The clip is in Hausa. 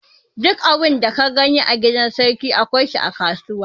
Duk abin da ka gani a gidan sarki, akwai shi a kasuwa.